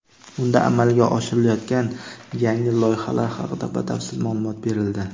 Unda amalga oshirilayotgan yangi loyihalar haqida batafsil ma’lumot berildi.